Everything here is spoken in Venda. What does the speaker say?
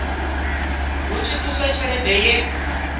hu tshi ṱuswa tshelede ye